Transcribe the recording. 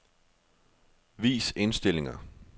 Vis indstillinger.